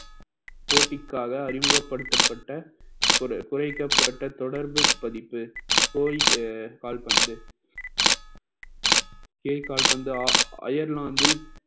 போட்டிக்காக அறிமுகப்படுத்தப்பட்ட ஒரு குறைக்கப்பட்ட தொடர்பு பதிப்பு போயி கால்பந்து போயி கால்பந்தா அயர்லாந்தில்